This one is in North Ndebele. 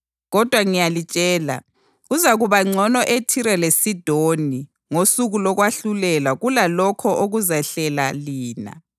Kodwa ngiyalitshela, kuzakuba ngcono eThire leSidoni ngosuku lokwahlulelwa kulalokho okuzalehlela lina.